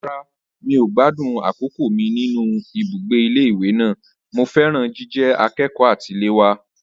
Rárá, mi ò gbádùn àkókò mi nínú ibùgbé ilé ìwé náà. Mo fẹ́ràn jíjẹ akẹ́kọ̀ọ́ àtiléwá.